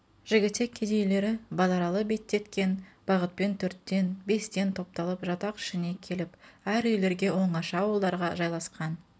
жігітек кедейлері базаралы беттеткен бағытпен төрттен бестен топ-талып жатақ ішіне келіп әр үйлерге оңаша ауылдарға жайласқан